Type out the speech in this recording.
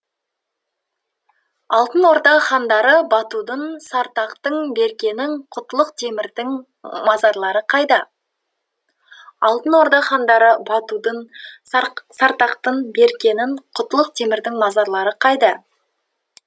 алтын орда хандары батудың сартақтың беркенің құтлық темірдің мазарлары қайда алтын орда хандары батудың сартақтың беркенің құтлық темірдің мазарлары қайда